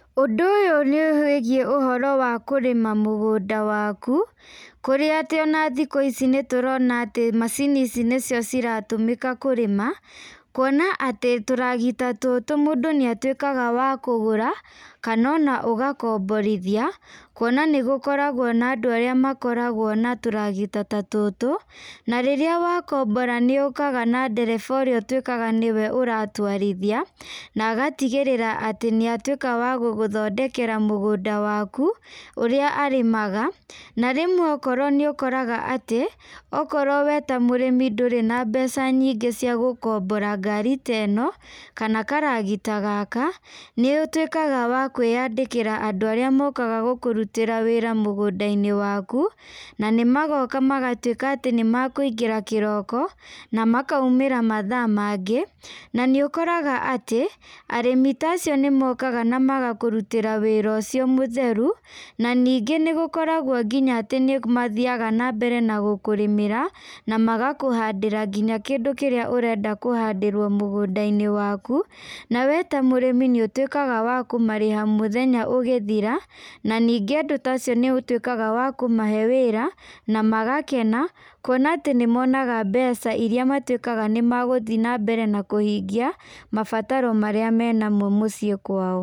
Ũndũ ũyũ nĩ wĩgiĩ ũhoro wa kũrĩma mũgũnda waku, kũrĩa atĩ ona thikũ ici nĩtũrona atĩ macini ici nĩcio ciratũmĩka kũrĩma, kwona atĩ tũragita tũtũ mũndũ nĩ atũĩkaga wa kũgũra kana ona ũgakomborithia kwona nĩ gũkoragwa na andũ arĩa makoragwa na tũragita ta tũtũ, na rĩrĩa wakombora nĩyũkaga na ndereba ũrĩa ũtuĩkaga nĩwe ũratwarithia na agatigĩrĩra atĩ nĩ atuĩka wa gũgũthondekera mũgũnda waku ũrĩa arĩmaga na rĩmwe rĩu nĩũkoraga atĩ okorwo weta mũrĩmi ndũrĩ na mbeca nyingĩ cia gũkombora ngari ta ĩno kana karagita gaka, nĩũtwĩkaga wakĩandĩkĩra andũ arĩa mokaga gũkũrutĩra wĩra mũgũndainĩ waku na nĩmagoka na magatuĩka atĩ nĩmekũingĩra kĩroko na makaũmĩra mathaa mangĩ na nĩũkoraga atĩ arĩmi ta acio nĩmokaga na magakũrĩtĩra wĩra ũcio mũtheru, na ningĩ nĩmakoragwa magathii na mbere gũkũrĩmĩra na magakũhandĩra nginya kĩndũ kĩrĩa ũrenda kũhanĩrwa mũgũndainĩ waku na we ta mũrĩmi nĩũtuĩkaga kũmarĩha mũthenya ũgĩthira ,na ningĩ andũ ta acio nĩ matuĩkaga wa kũmahe wĩra na magakena kwona atĩ nĩ monaga mbeca iria matuĩkaga nĩmegũthii na mbere na kũhingia, mabataro arĩa menamo mũciĩ kwao.